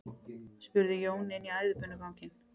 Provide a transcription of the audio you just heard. spurði Jón inn í æðibunuganginn.